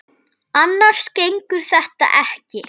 Annars gengur þetta ekki.